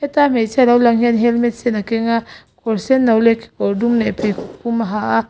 tlai hmeichhia lo lang hian helmet sen a keng a kawr senno leh kekawr dum leh pheikhawk pum a ha a.